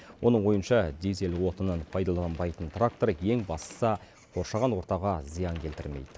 оның ойынша дизель отынын пайдаланбайтын трактор ең бастысы қоршаған ортаға зиян келтірмейді